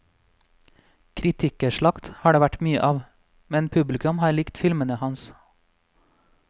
Kritikerslakt har det vært mye av, men publikum har likt filmene hans.